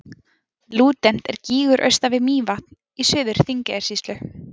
Lúdent er gígur austan við Mývatn í Suður-Þingeyjarsýslu.